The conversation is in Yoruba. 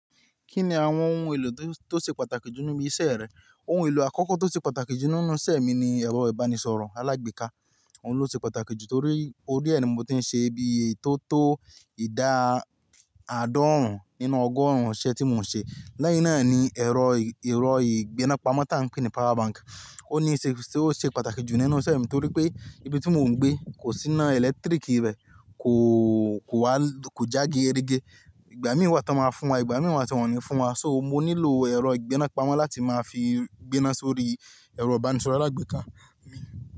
Kí ni àwọn ohun èlò tó, tó ṣe pàtàkì jù nínú iṣẹ́ rẹ? Ohun èlò àkọ́kọ́ tó ṣe pàtàkì jù nínú iṣẹ́ mi ni ẹ̀rọ ìbánisọ̀rọ̀ alágbèéká. Òun ló ṣe pàtàkì jù torí ó ríẹ̀ ni mo ti ń ṣe bí i tó tó ìdá àádọ́rùn nínú ọgọ́rùn-ún iṣẹ́ tí mò ń ṣe. Lẹ́yìn náà ni ẹ̀rọ, ẹ̀rọ ìgbéná pamọ́ tá ń pè ní power bank. Ó ní ṣe, ṣe ó ṣe pàtàkì jù nínú iṣẹ́ mi torí pé ibi tí mò ń gbé kò sí iná ẹ̀lẹ́tíríkì rẹ, kò, kò wá, kò já geerege Ìgbà mìí wa tan ma fún wa, ìgbà mì wa ti won o ní fún wa. Soo mo nílò ẹ̀rọ ìgbéná pamọ́ láti máa fi gbé náà sórí ẹ̀rọ ìbánisọ̀rọ̀ alágbèéká mi.